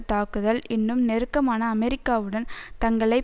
தாக்குதல் இன்னும் நெருக்கமான அமெரிக்காவுடன் தங்களை